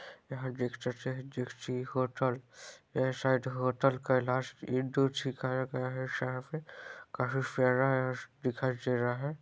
यहाँ देख सकते है होटल ये साइड होटल कैलाश काफी फैरा दिखाई दे रहा है।